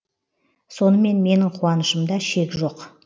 сонымен менің қуанышымда шек жоқ